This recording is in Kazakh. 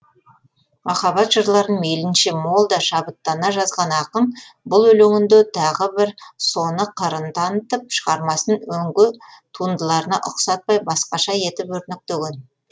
махаббат жырларын мейлінше мол да шабыттана жазған ақын бұл өлеңінде тағы бір соны қырын танытып шығармасын өңге туындыларына ұқсатпай басқаша етіп өрнектеген